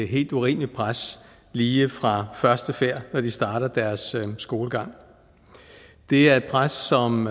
helt urimeligt pres lige fra første færd når de starter deres skolegang det er et pres som